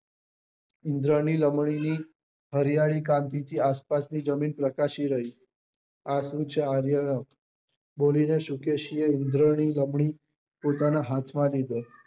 ઇન્ધ્રની લામની ની હરિયાળી ક્રાંતિ થી આસપાસ ની જમીન પ્રકાશી રહી આ શું છે આરન્ક્ય બોલી ને શુકેશી એ ઇન્ધ્રની લામની પોતાની હાથ માં લીધો